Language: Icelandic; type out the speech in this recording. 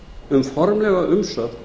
um formlega umsögn